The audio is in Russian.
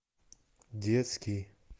детский